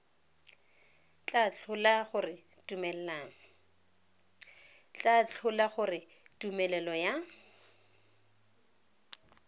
tla tlhola gore tumelelo ya